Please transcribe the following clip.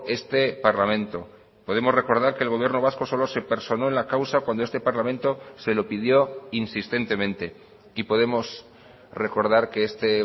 este parlamento podemos recordar que el gobierno vasco solo se personó en la causa cuando este parlamento se lo pidió insistentemente y podemos recordar que este